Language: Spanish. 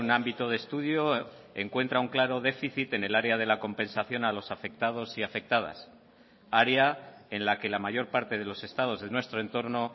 ámbito de estudio encuentra un claro déficit en el área de la compensación a los afectados y afectadas área en la que la mayor parte de los estados de nuestro entorno